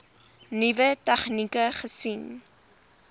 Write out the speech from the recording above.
nuwe tegnieke gesien